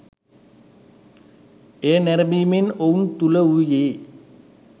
එය නැරඹීමෙන් ඔවුන් තුළ වූයේ